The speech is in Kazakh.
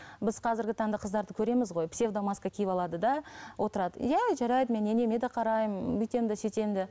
біз қазіргі таңда қыздарды көреміз ғой псевдо маска киіп алады да отырады иә жарайды мен енеме де қараймын бүйтемін де сөйтемін де